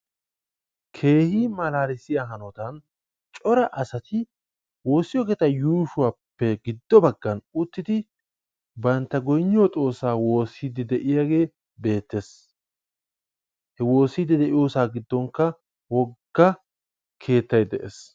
Keehi malaalissiya hanotan cora asati woossiyo keettaa yuushuwappe giddo baggan uttidi bantta goyinniyo xoossaa woossiidi de'iyagee beettees. He woossiiddi de'iyosaa giddonkka wogga keettay de'ees.